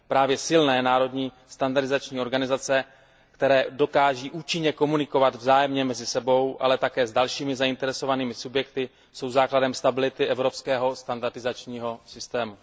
Právě silné národní standardizační organizace, které dokáží účinně komunikovat vzájemně mezi sebou, ale také s dalšími zainteresovanými subjekty, jsou základem stability evropského standardizačního systému.